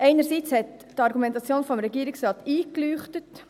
Einerseits hat die Argumentation des Regierungsrates eingeleuchtet.